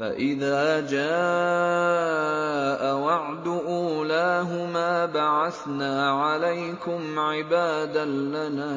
فَإِذَا جَاءَ وَعْدُ أُولَاهُمَا بَعَثْنَا عَلَيْكُمْ عِبَادًا لَّنَا